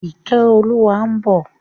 Ìkẹ́olúwa ń bọ̀.